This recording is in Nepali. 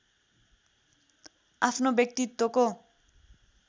आफ्नो व्यक्तित्वको